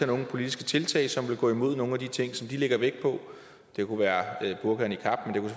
nogle politiske tiltag som ville gå imod nogen af de ting som de lægger vægt på det kunne være burka og niqab